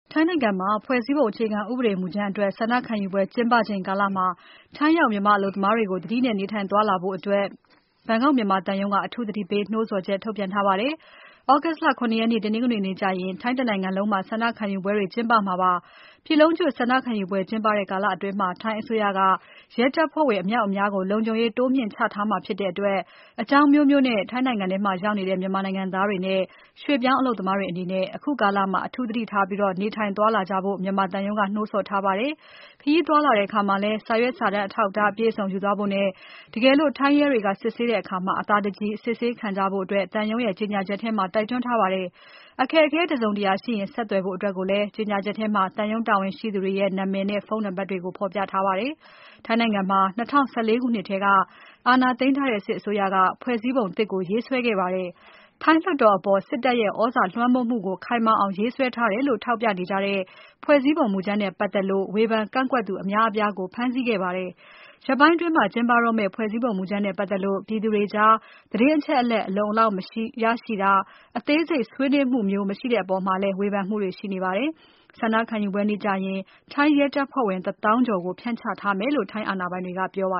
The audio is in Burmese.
ထိုင်းနိုင်ငံမှာ ဖွဲ့စည်းပုံအခြေခံ ဥပဒေမူကြမ်းအတွက် ဆန္ဒခံယူပွဲ ကျင်းပချိန်ကာလမှာ ထိုင်းရောက် မြန်မာ အလုပ်သမားတွေကို သတိနဲ့ နေထိုင် သွားလာကြဖို့ ဘန်ကောက် မြန်မာသံရုံးက အထူး သတိပေးနှိုးဆော်ချက် ထုတ်ပြန်ထားပါတယ်။ သြဂုတ်လ ၇ ရက် တနင်္ဂနွေနေ့ကျရင် ထိုင်းတနိုင်ငံလုံးမှာ ဆန္ဒခံယူပွဲ ကျင်းပမှာဖြစ်ပါတယ်။ ပြည်လုံးကျွတ် ဆန္ဒခံယူပွဲကျင်းပတဲ့ ကာလအတွင်း ထိုင်းအစိုးရက ရဲတပ်ဖဲ့ွဝင် အမြောက်အများကို လုံခြုံရေး တိုးမြှင့် ချထားမှာ ဖြစ်တဲ့အတွက် အကြောင်းအမျိုးမျိုးနဲ့ ထိုင်းနိုင်ငံမှာ ရောက်နေတဲ့ မြန်မာနိုင်ငံသားတွေနဲ့ ရွှေ့ပြောင်း အလုပ်သမားတွေအနေနဲ့ အခုကာလမှာ အထူး သတိထားပြီး နေထိုင်သွားလာကြဖို့ မြန်မာသံရုံးက နှိုးဆော်ထားပါတယ်။ ခရီးသွားလာတဲ့အခါမှာလဲ စာရွက်စာတမ်း အထောက်အထား အပြည့်အစုံ ယူသွားဖို့နဲ့ တကယ်လို့ ထိုင်းရဲတွေက စစ်ဆေးတဲ့အခါ အသာတကြည် အစစ်ဆေးခံကြဖို့ သံရုံး ကြေညာချက်ထဲမှာ တိုက်တွန်းထားပါတယ်။ အခက်အခဲ တစုံတရာရှိရင် ဆက်သွယ်ဖို့အတွက်လဲ ကြေညာချက်ထဲမှာ သံရုံး တာဝန်ရှိသူတွေရဲ့ နာမည်နဲ့ ဖုန်းနံပါတ်တွေကို ဖော်ပြထားပါတယ်။ ထိုင်းနိုင်ငံမှာ ၂၀၁၄ ခုနှစ်ထဲက အာဏာသိမ်းထားတဲ့ စစ်အစိုးရက ဖွဲ့စည်းပုံသစ်ကို ရေးဆွဲခဲ့ပါတယ်။ ထိုင်းလွှတ်တော်အပေါ် စစ်တပ်ရဲ့ သြဇာလွှမ်းမိုးမှုကို ခိုင်မာအောင် ရေးဆွဲထားတယ်လို့ ထောက်ပြနေကြတဲ့ ဖွဲ့စည်းပုံ မူကြမ်းနဲ့ပါတ်သက်လို့ ဝေဖန် ကန့်ကွက်သူ အများအပြားကို ဖမ်းဆီးခဲ့ပါတယ်။ ရက်ပိုင်းအတွင်း ကျင်းပတော့မဲ့ ဖွဲ့စည်းပုံ မူကြမ်းနဲ့ပါတ်သက်လို့ ပြည်သူတွေကြား သတင်းအချက်အလက် အလုံအလောက်မရရှိတာ၊ အသေးစိတ် ဆွေးနွေးမှုမျိုး မရှိတဲ့အပေါ်လဲ ဝေဖန်မှုတွေရှိနေပါတယ်။ ဆန္ဒခံယူပွဲကျင်းပတဲ့နေ့ကျရင် ရဲတပ်ဖွဲ့ဝင် တသောင်းကျော်ကို ဖြန့်ချထားမယ်လို့ ထိုင်းအာဏာပိုင်တွေက ပြောပ